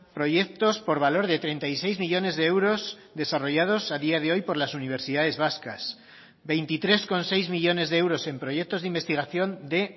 proyectos por valor de treinta y seis millónes de euros desarrollados a día de hoy por las universidades vascas veintitrés coma seis millónes de euros en proyectos de investigación de